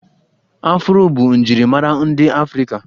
Afụro bụ njirimara ndị afrịka